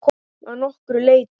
Að nokkru leyti.